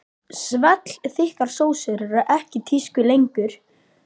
Svellþykkar sósur eru ekki í tísku lengur.